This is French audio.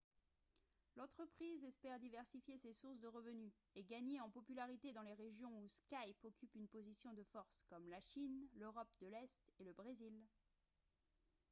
l'entreprise espère diversifier ses sources de revenus et gagner en popularité dans les régions où skype occupe une position de force comme la chine l'europe de l'est et le brésil